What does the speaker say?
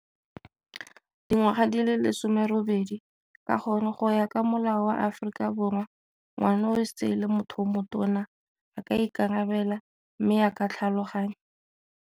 Dingwaga di le lesome robedi ka gore go ya ka molao wa Aforika Borwa ngwana o se e le motho yo motona a ka ikarabela mme a ka tlhaloganya.